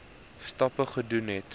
stappe gedoen het